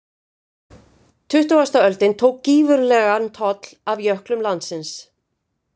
Tuttugasta öldin tók gífurlegan toll af jöklum landsins.